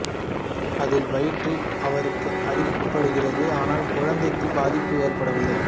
அதில் வயிற்றில் அவருக்கு அடிபடுகிறது ஆனால் குழந்தைக்குப் பாதிப்பு ஏற்படவில்லை